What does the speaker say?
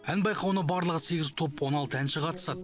ән байқауына барлығы сегіз топ он алты әнші қатысады